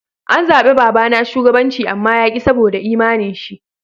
An zabe baba na dan shugabanci amma ya ki saboda imani'n shi.